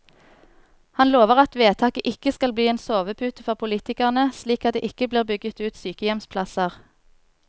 Han lover at vedtaket ikke skal bli en sovepute for politikerne, slik at det ikke blir bygget ut sykehjemsplasser.